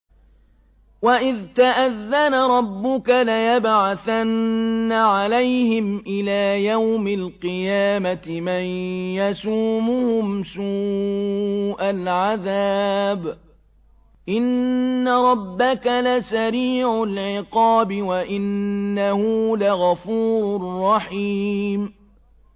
وَإِذْ تَأَذَّنَ رَبُّكَ لَيَبْعَثَنَّ عَلَيْهِمْ إِلَىٰ يَوْمِ الْقِيَامَةِ مَن يَسُومُهُمْ سُوءَ الْعَذَابِ ۗ إِنَّ رَبَّكَ لَسَرِيعُ الْعِقَابِ ۖ وَإِنَّهُ لَغَفُورٌ رَّحِيمٌ